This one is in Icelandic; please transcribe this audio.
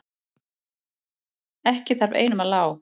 Ekki þarf einum að lá.